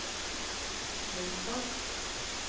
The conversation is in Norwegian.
Eidsvoll